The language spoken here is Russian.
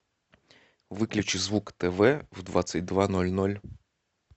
выключи звук тв в двадцать два ноль ноль